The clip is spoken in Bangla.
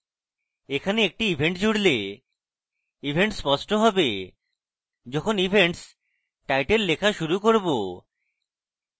এখানে একটি event জুড়লে event স্পষ্ট হবে যখন events title লেখা শুরু করব